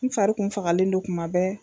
N fari kun fagalen don kumabɛ